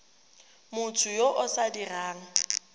motho yo o sa dirang